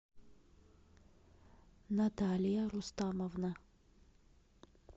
наталья рустамовна